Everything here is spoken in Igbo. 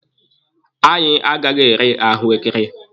Anyị agaghị ere ahụekere.